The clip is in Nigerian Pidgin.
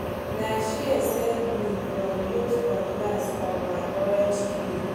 na shears save me from use cutlass on my orange tree